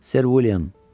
Ser William.